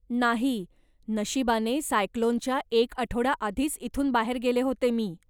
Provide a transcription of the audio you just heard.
नाही, नशिबाने सायक्लोनच्या एक आठवडा आधीच इथून बाहेर गेले होते मी.